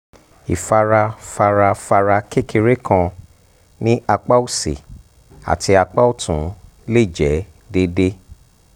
ifarafarafara kekere kan ni apa osi ati apa ọtun le jẹ deede